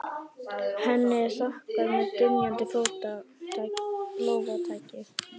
Henni er þakkað með dynjandi lófataki.